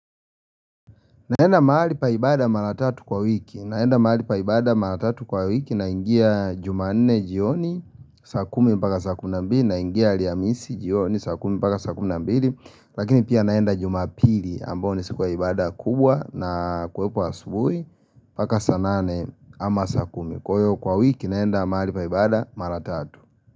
Naenda mahali pa ibada mara tatu kwa wiki naingia jumanne jioni sa kumi mpaka saa kumi na mbili naingia alhamisi jioni saa kumi mpaka saa kumi na mbili Lakini pia naenda jumapili ambayo ni siku ya ibada kubwa na kwepo asubuhi paka saa nane ama saa kumi kwa hivyo kwa wiki naenda mahali pa ibada mara tatu.